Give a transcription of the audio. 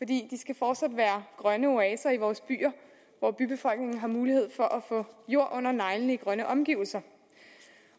de skal fortsat være grønne oaser i vores byer hvor bybefolkningen har mulighed for at få jord under neglene i grønne omgivelser